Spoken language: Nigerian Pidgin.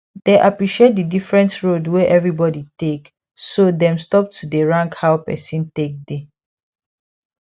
dey appreciate the different road wey everybody take so dem stop to dey rank how person take dey